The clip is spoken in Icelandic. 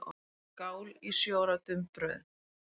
Skál í sjö ára dumbrauðu.